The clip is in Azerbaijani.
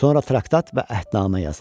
Sonra traktat və əhdnamə yazıldı.